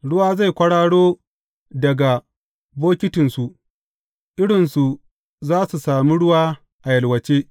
Ruwa zai kwararo daga bokitinsu; irinsu za su sami ruwa a yalwace.